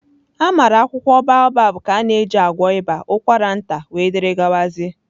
Amara akwụkwọ Baobab ka a na-eji agwọ ịba, ụkwara nta wdg